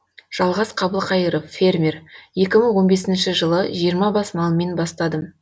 жалғас қабылқайыров фермер екі мың он бесінші жылы жиырма бас малмен бастадым